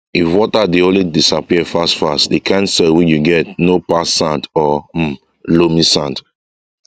if water dey always disappear fast fast the kind soil wey you get no pass sand or um loamysand